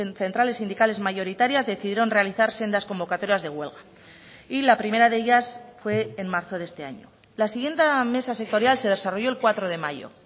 centrales sindicales mayoritarias decidieron realizar sendas convocatorias de huelga y la primera de ellas fue en marzo de este año la siguiente mesa sectorial se desarrolló el cuatro de mayo